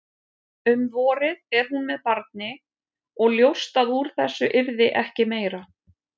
Um vorið er hún með barni og ljóst að úr þessu yrði ekki meira.